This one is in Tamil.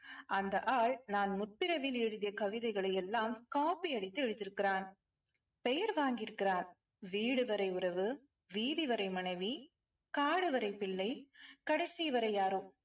அந்த ஆள் நான் முற்பிறவியில் எழுதிய கவிதைகளை எல்லாம் copy அடித்து எழுதியிருக்கிறான். பெயர் வாங்கி இருக்கிறான். வீடு வரை உறவு வீதி வரை மனைவி காடு வரை பிள்ளை கடைசி வரை யாரோ